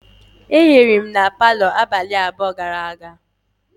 E hiri m na palo abalị abụọ gara aga.